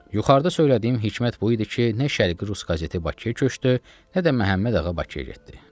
Yuxarıda söylədiyim hikmət bu idi ki, nə Şərqi rus qazeti Bakıya köçdü, nə də Məhəmmədağa Bakıya getdi.